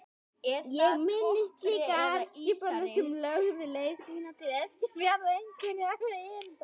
Ég minnist líka herskipanna sem lögðu leið sína til Eskifjarðar einhverra erinda.